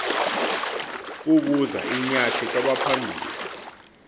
kubuza inyathi kwabaphambili